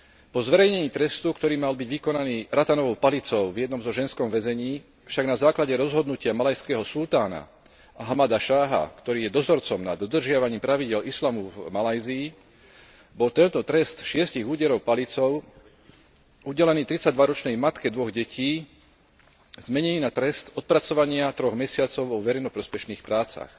Po zverejnení trestu, ktorý mal byť vykonaný ratanovou palicou v jednom ženskom väzení, však na základe rozhodnutia malajského sultána Ahmada Šáha, ktorý je dozorcom nad dodržiavaním pravidiel islamu v Malajzii, bol tento trest šiestich úderov palicou, udelený tridsaťdvaročnej matke dvoch detí, zmenený na trest odpracovania troch mesiacov vo verejnoprospešných prácach.